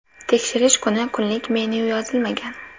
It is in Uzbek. Tekshirish kuni kunlik menyu yozilmagan.